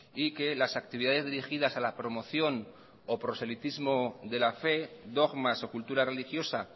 y que las actividades dirigidas a la promoción o proselitismo de la fe dogmas o cultura religiosa